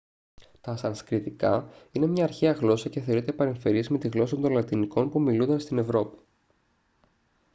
τα σανσκριτικά είναι μια αρχαία γλώσσα και θεωρείται παρεμφερής με τη γλώσσα των λατινικών που ομιλούνταν στην ευρώπη